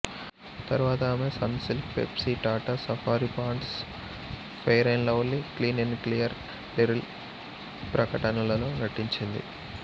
తర్వాత ఆమె Sunsilk Pepsi Tata Safari Pond's Fair and Lovely Clean and Clear Liril ప్రకటనలలో నటించింది